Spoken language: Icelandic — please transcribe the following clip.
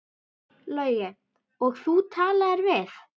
Logi: Og þú talaðir við?